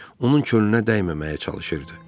Onun könlünə dəyməməyə çalışırdı.